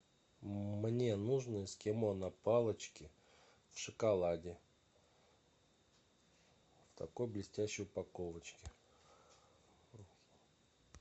мне нужно эскимо на палочке в шоколаде в такой блестящей упаковочке